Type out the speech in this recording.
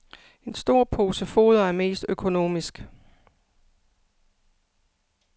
En stor pose foder er mest økonomisk.